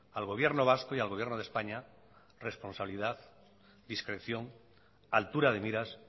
al gobierno vasco y al gobierno de españa responsabilidad discreción altura de miras